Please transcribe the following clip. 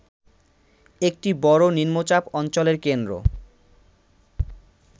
একটি বড় নিম্নচাপ অঞ্চলের কেন্দ্র